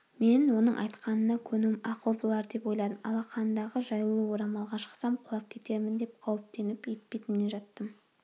мен оның айтқанына көнуім ақыл болар деп ойладым алақандағы жаюлы орамалға шықсам құлап кетермін деп қауіптеніп етпетімнен жаттым